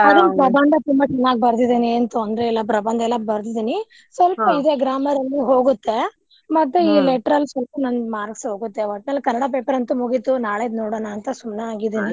ಅದನ್ನ್ ಪ್ರಬಂಧ ತುಂಬಾ ಚೆನ್ನಾಗಿ ಬರ್ದಿದೇನೆ ಏನ್ ತೊಂದ್ರೆ ಇಲ್ಲಾ ಪ್ರಬಂಧ ಎಲ್ಲಾ ಬರ್ದಿದಿನಿ ಸ್ವಲ್ಪ ಇದೆ grammar ಅಲ್ಲಿ ಹೋಗುತ್ತೆ. ಮತ್ತೆ ಈ letter ಅಲ್ಲಿ ಸ್ವಲ್ಪ ನನ್ನ್ marks ಹೋಗುತ್ತೆ ಒಟ್ನಲ್ಲಿ ಕನ್ನಡ paper ಅಂತು ಮುಗೀತು ನಾಳೆದ್ ನೋಡೋನಾ ಅಂತಾ ಸುಮ್ನೆ ಆಗಿದಿನಿ.